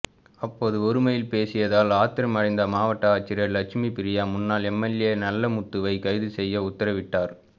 அப்போது ஒருமையில் பேசியதால் ஆத்திரமடைந்த மாவட்ட ஆட்சியர் லெட்சுமி ப்ரியா முன்னாள் எம்எல்ஏ நல்ல முத்துவை கைது செய்ய உத்தரவிட்டார்